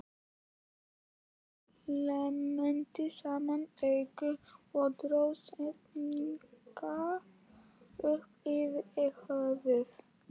Örn klemmdi saman augun og dró sængina upp yfir höfuð.